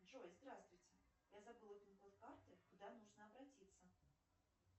джой здравствуйте я забыла пин код карты куда нужно обратиться